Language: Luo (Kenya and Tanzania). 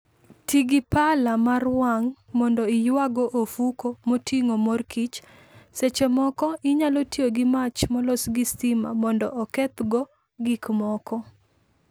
Ti gi pala mar wang' mondo iyawgo ofuko moting'o mor kich. Seche moko, inyalo tiyo gi mach molos gi stima mondo okethgo gik moko.